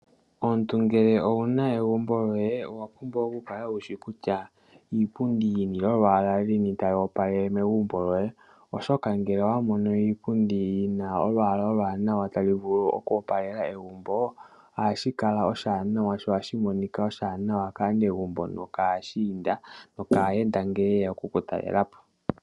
Omuntu ngele owuna egumbo loye owapumbwa okukala wushi kutya iipundi yini tayi vulu oku opalela egumbo lyoye ohashi kala oshiwanawa no ohashi monika oshiwanawa kaanegumbo nokaashinda nokaayenda ngele yeya okukutalelapo.